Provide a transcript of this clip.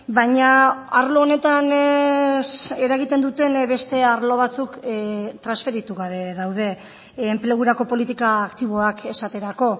baina arlo honetan eragiten duten beste arlo batzuk transferitu gabe daude enplegurako politika aktiboak esaterako